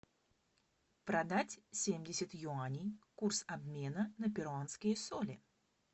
продать семьдесят юаней курс обмена на перуанские соли